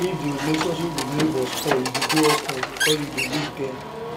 if di relationship with neighbour spoil e dey de awkward because you dey live dey